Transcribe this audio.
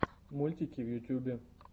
мультики в ютубе